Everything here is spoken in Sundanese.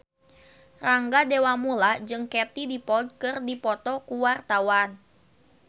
Rangga Dewamoela jeung Katie Dippold keur dipoto ku wartawan